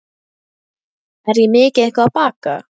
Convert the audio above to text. Er ég mikið eitthvað að baka?